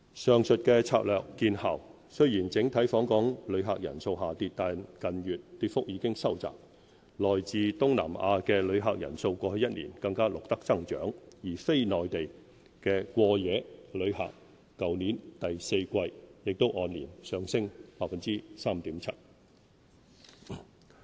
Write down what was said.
上述策略見效，雖然整體訪港旅客人次下跌，但近月跌幅已收窄，來自東南亞的旅客人數過去一年更錄得增長，而非內地的過夜旅客去年第四季亦按年上升 3.7%。